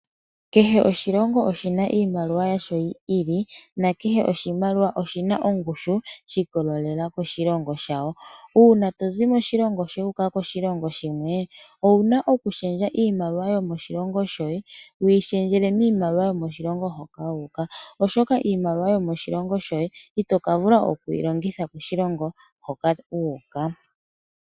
Kehe oshilongo oshina iimaliwa yasho yi ili na kehe oshimaliwa oshina ongushu shiiko lelela koshilongo shawo uuna tozi moshilongo wuka koshilongo shimwe ouna okushendja iimaliwa yo moshilongo shoye wuyi shendjele miimaliwa yo moshilongo hoka wuka oshoka iimaliwa yo moshilongo shoye itoka vula oku yilongitha koshilongo hoka wuuka.